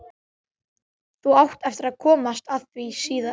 Þú átt eftir að komast að því síðar.